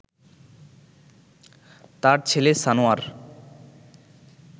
তার ছেলে সানোয়ার